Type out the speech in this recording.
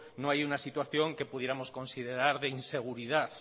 no hay una situación que pudiéramos considerar de inseguridad